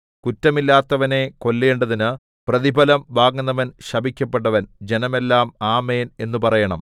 കുറ്റമില്ലാത്തവനെ കൊല്ലേണ്ടതിന് പ്രതിഫലം വാങ്ങുന്നവൻ ശപിക്കപ്പെട്ടവൻ ജനമെല്ലാം ആമേൻ എന്നു പറയണം